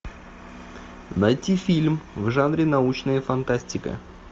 найти фильм в жанре научная фантастика